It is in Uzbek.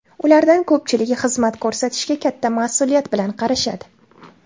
Ulardan ko‘pchiligi xizmat ko‘rsatishga katta mas’uliyat bilan qarashadi.